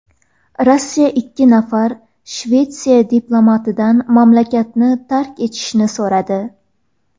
Rossiya ikki nafar Shvetsiya diplomatidan mamlakatni tark etishni so‘radi.